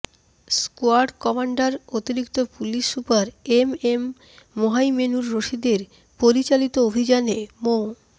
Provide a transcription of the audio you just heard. squad commander অতিরিক্ত পুশিল super M M Mohaimenur রশিদের পরিচালিত অভিযানে মো